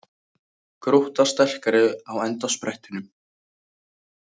Grótta sterkari á endasprettinum